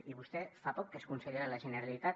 i vostè fa poc que és conseller de la generalitat